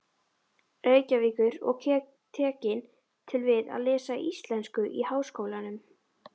Reykjavíkur og tekin til við að lesa íslensku í Háskólanum.